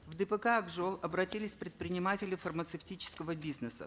в дпк ак жол обратились предприниматели фармацевтического бизнеса